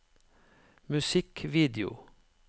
musikkvideo